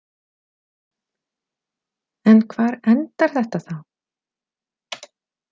En hvar endar þetta þá?